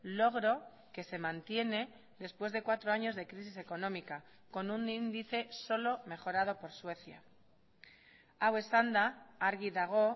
logro que se mantiene después de cuatro años de crisis económica con un índice solo mejorado por suecia hau esanda argi dago